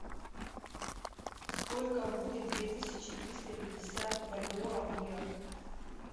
сколько будет две тысячи триста пятьдесят бальбоа в лирах